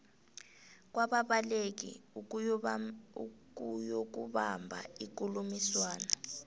kwababaleki ukuyokubamba ikulumiswano